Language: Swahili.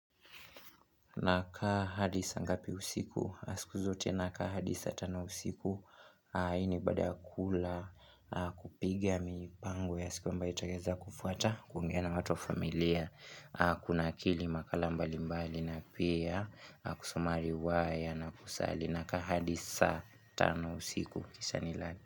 Nakaa hadi saa ngapi usiku? Na siku zote nakaa hadi saa tano usiku. Hii ni baada ya kula kupiga mipango ya siku ambayo itaweza kufuata. Kuongea na watu wa familia. Kunakili makala mbali mbali na pia. Kusoma riwaya na kusali. Nakaa hadi saa tano usiku. Kisha nilale.